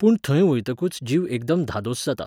पूण थंय वयतकूच जीव एकदम धादोस जाता.